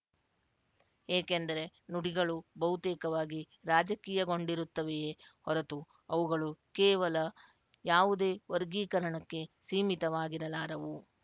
ಏಕೆಂದರೆ ನುಡಿಗಳು ಬಹುತೇಕವಾಗಿ ರಾಜಕೀಯಗೊಂಡಿರುತ್ತವೆಯೇ ಹೊರತು ಅವುಗಳು ಕೇವಲ ಯಾವುದೇ ವರ್ಗೀಕರಣಕ್ಕೆ ಸೀಮಿತವಾಗಿರಲಾರವು